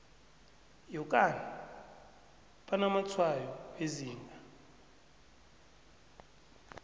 yokana banamatshwayo wezinga